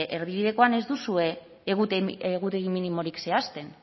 erdibidekoan ez duzue egutegi minimorik zehazten